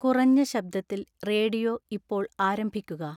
കുറഞ്ഞ ശബ്ദത്തിൽ റേഡിയോ ഇപ്പോൾ ആരംഭിക്കുക